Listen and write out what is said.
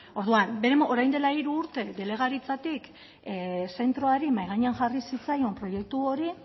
orduan orain dela hiru urte delegaritzatik zentroari mahai gainean jarri zitzaion proiektu hori